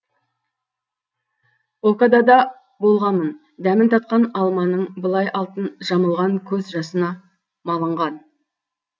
окада да болғамын дәмін татқам алманың былай алтын жамылған көз жасына малынған